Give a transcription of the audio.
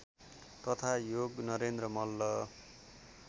तथा योगनरेन्द्र मल्ल